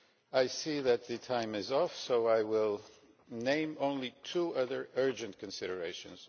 I see that my time is up so I will name only two other urgent considerations.